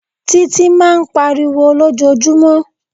Títí máa ń pariwo lójoojúmọ́.